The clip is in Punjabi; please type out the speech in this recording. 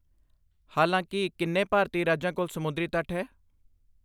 ਹਾਲਾਂਕਿ ਕਿੰਨੇ ਭਾਰਤੀ ਰਾਜਾਂ ਕੋਲ ਸਮੁੰਦਰੀ ਤੱਟ ਹੈ?